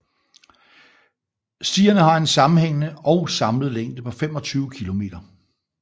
Stierne har en sammenhængende og samlet længde på 25 kilometer